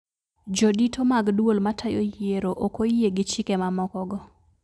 Jodito mag duol matayo yiero okoyie gi chike mamoko go